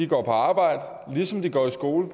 går på arbejde ligesom de går i skole